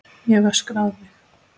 Ég hef öskrað á þig!